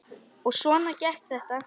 Og svona gekk þetta.